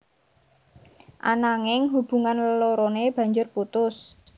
Ananging hubungan leloroné banjur putus